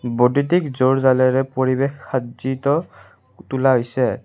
বদ্যুতিক জুৰ জালেৰে পৰিৱেশ সাজ্জিত তোলা হৈছে।